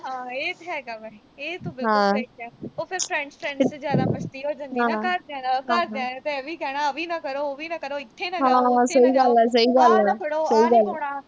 ਹਾਂ, ਇਹ ਤਾਂ ਹੈਗਾ ਵਾ। ਇਹ ਤੂੰ ਬਿਲਕੁਲ ਸਹੀ ਕਿਹਾ। ਉਹ ਫਿਰ friends ਚ ਜ਼ਿਆਦਾ ਮਸਤੀ ਹੋ ਜਾਂਦੀ ਨਾ ਅਹ ਘਰਦਿਆਂ ਨਾਲ ਘਰਦਿਆਂ ਨੇ ਇਹ ਵੀ ਕਹਿਣਾ ਆ ਵੀ ਨਾ ਕਰੋ, ਉਹ ਵੀ ਨਾ ਕਰੋ। ਇਥੇ ਨਾ ਜਾਓ, ਉਥੇ ਨਾ ਜਾਓ। ਆਹ ਨਾ ਫੜੋ, ਆਹ ਨੀਂ ਪਾਉਣਾ।